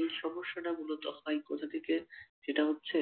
এই সমস্যা টা মূলত হয় কোথা থেকে সেটা হচ্ছে